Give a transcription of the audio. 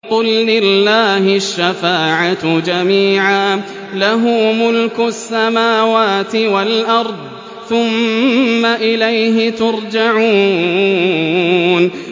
قُل لِّلَّهِ الشَّفَاعَةُ جَمِيعًا ۖ لَّهُ مُلْكُ السَّمَاوَاتِ وَالْأَرْضِ ۖ ثُمَّ إِلَيْهِ تُرْجَعُونَ